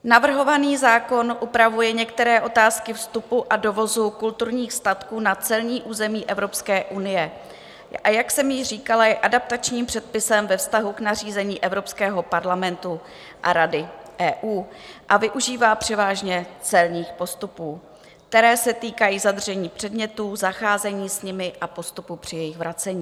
Navrhovaný zákon upravuje některé otázky vstupu a dovozu kulturních statků na celní území Evropské unie, a jak jsem již říkala, je adaptačním předpisem ve vztahu k nařízení Evropského parlamentu a Rady EU a využívá převážně celních postupů, které se týkají zadržení předmětů, zacházení s nimi a postupu při jejich vracení.